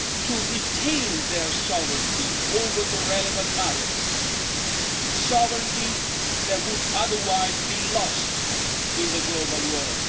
to retain their sovereignty over the relevant matters, sovereignty that would otherwise be lost in the global world.